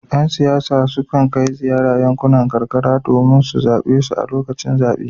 Yan siyasa sukan kai ziyara a yankunan karkara domin su zabe su a lokacin zabe.